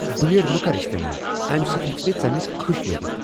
Blade مہ کر استعمال۔ امہ سۭتۍ ہیٚکہ مےٚ ژمہ کھٕش لگِتھ۔